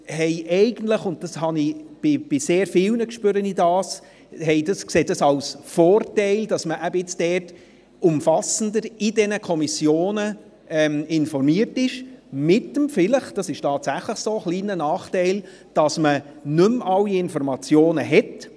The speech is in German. Eigentlich sieht man einen Vorteil darin – dies spüre ich bei sehr vielen –, dass man in den Kommissionen umfassender informiert wird, wenn vielleicht auch mit dem kleinen Nachteil – dem ist tatsächlich so –, dass man nicht mehr alle Informationen erhält.